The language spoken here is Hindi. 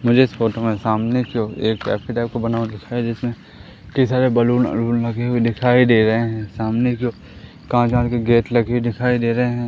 मुझे इस फोटो में सामने की ओर एक कैफे टाइप का बना हुआ दिखाई दे जिसमें कई सारे बैलून वलून लगे हुए दिखाई दे रहे हैं सामने की ओर कांच वाँच के गेट लगे दिखाई दे रहे हैं।